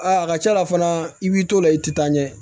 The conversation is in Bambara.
Aa a ka ca la fana i b'i t'o la i ti taa ɲɛ